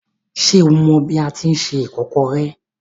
Ṣé o mọ bi a tíi se ìkọ́kọrẹ́?